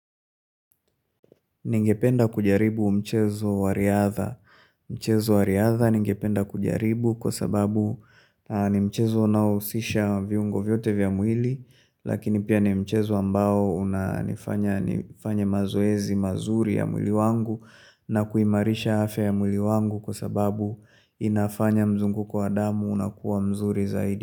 Ningependa kujaribu mchezo wa riadha. Mchezo wa riadha ningependa kujaribu kwa sababu ni mchezo unaohusisha viungo vyote vya mwili. Lakini pia ni mchezo ambao unanifanya nifanye mazoezi mazuri ya mwili wangu. Na kuimarisha afya ya mwili wangu kwa sababu inafanya mzunguko wa damu unakuwa mzuri zaidi.